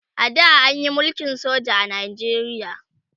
a da anyi mulkin soja a Najeriya